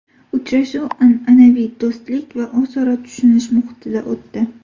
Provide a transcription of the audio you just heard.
Uchrashuv an’anaviy do‘stlik va o‘zaro tushunish muhitida o‘tdi.